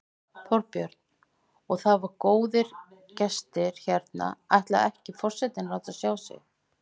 Þorbjörn: Og það eru góðir gestir hérna, ætlar ekki forsetinn að láta sjá sig?